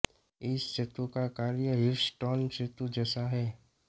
इस सेतु का कार्य ह्वीटस्टोन सेतु जैसा ही है